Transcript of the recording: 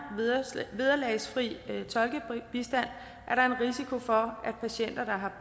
vederlagsfri tolkebistand er der en risiko for at patienter der har